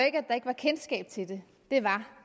ikke at der ikke var kendskab til det det var